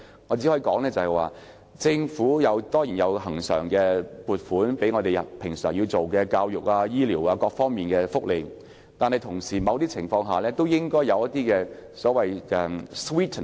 我只可以說，政府當然有提供恆常撥款，用作平常推行教育、醫療、福利等各方面的工作，但同時亦應提供所謂的甜品。